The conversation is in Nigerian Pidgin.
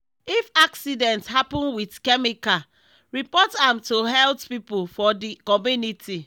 if accident happen with chemical report am to health people for the community.